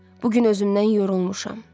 Bu gün özümdən yorulmuşam.